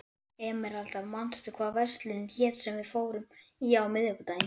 Emeralda, manstu hvað verslunin hét sem við fórum í á miðvikudaginn?